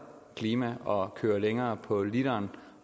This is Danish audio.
klima og at køre længere på literen